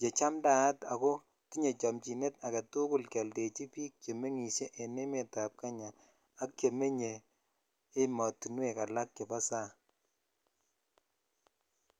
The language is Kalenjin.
che chamtaat akotinye chomchinet keoldechi bik chemiten en emet ab Kenya ak chemenye ematunwek alak chebo sang.